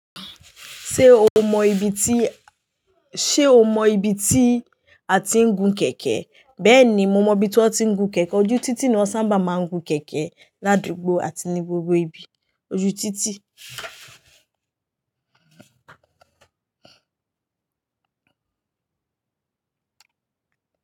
Ṣé o mọ ibi tí, sé o mọ ibi tí a ti ń gun kẹ̀kẹ́? Bẹ́ẹ̀ni, mo mọ ibi tí wọ́n ti ń gun kẹ̀kẹ́. Ojú títì ni wọ́n sáabà má ń gun kẹ̀kẹ́ l'ádugbó àti ní gbogbo ibi, ojú títì.